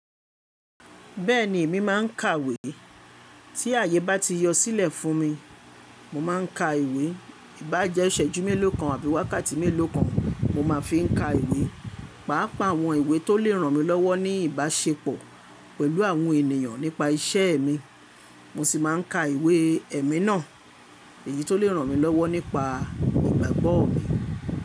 Bẹ́ẹ̀ni, èmi máà ń kàwé. Tí àyè bá ti yọ sílẹ̀ fún mi, mo máa ń ka ìwé. Í bá jẹ́ ìṣẹ́jú mélòó kan àbí wákàtí mélòó kan, mo máa fi ń ka ìwé. Páápàá àwọn ìwé tó lè ràn mí lọ́wọ́ ní ìbáṣepọ̀ pẹ̀lú àwọn ènìyàn nípa iṣẹ́ mi, mo sì máa ń ka ìwé ẹ̀mi náà, èyí tó lè ràn mí lọ́wọ́ nípa ìgbàgbọ́ mi.